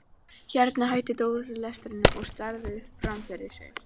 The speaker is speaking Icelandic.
Hérna hætti Dóri lestrinum og starði fram fyrir sig.